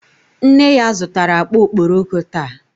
Nne ya zutara akpa okpokoro taa.